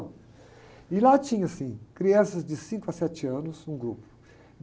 E lá tinha, assim, crianças de cinco a sete anos, um grupo.